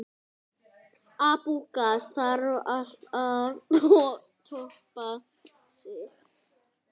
Þarf alltaf að toppa sig?